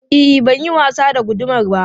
E, ban yin wasa da gudamar ba.